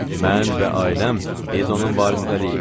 Mən və ailəm, biz onun varisləriyik.